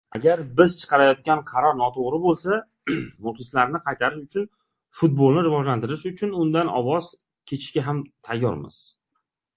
Agar biz chiqarayotgan qaror noto‘g‘ri bo‘lsa, muxlislarni qaytarish uchun, futbolni rivojlantirish uchun undan voz kechishga ham tayyormiz.